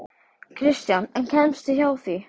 Kristján: En kemstu hjá því?